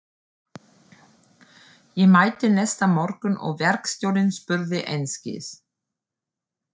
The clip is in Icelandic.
Ég mætti næsta morgun og verkstjórinn spurði einskis.